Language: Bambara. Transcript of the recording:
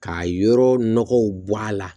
K'a yɔrɔ nɔgɔw bɔ a la